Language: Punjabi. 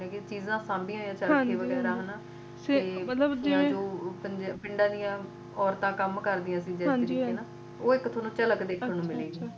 ਕੁਝ ਚੀਜਾ ਸਾਂਭਿਆ ਹੋਇਆ ਜਿਵੇਂ ਚਰਖ਼ੇ ਵਗੈਰਾ ਤੇ ਜਿਵੇਂ ਪਿੰਡਾ ਦੀ ਔਰਤਾਂ ਕਮਿ ਕਰਦਿਆਂ ਸੀ ਓਹ ਇਕ ਤਰ੍ਹਾ ਤੋ ਦੇਖਣ ਨੂੰ ਮਿਲੇਗੀ